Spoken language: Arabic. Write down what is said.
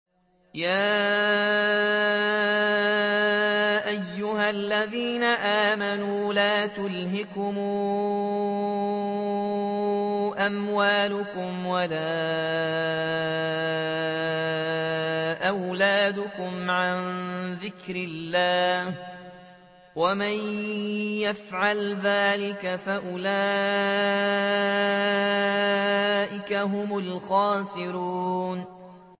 يَا أَيُّهَا الَّذِينَ آمَنُوا لَا تُلْهِكُمْ أَمْوَالُكُمْ وَلَا أَوْلَادُكُمْ عَن ذِكْرِ اللَّهِ ۚ وَمَن يَفْعَلْ ذَٰلِكَ فَأُولَٰئِكَ هُمُ الْخَاسِرُونَ